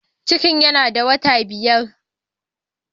Ciki yana da wata biyar.